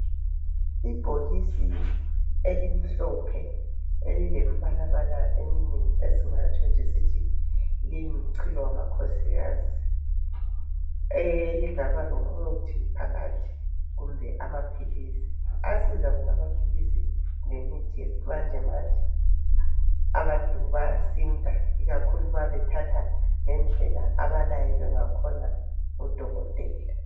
Ibhokisi elimhlophe elilembalabala eminengi esingatsho nje sithi liyimchilo wamakhosikazi. Elingaba lomuthi phakathi kumbe amaphilisi. Ayasiza wona amaphilisi lemithi yesimanjemanje abantu bayasinda ikakhulu ma bethatha ngendlela abalayelwe ngakhona ngudokotela.